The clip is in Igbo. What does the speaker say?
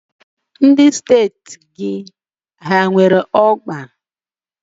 Ndị steeti gị o nwere ọgba?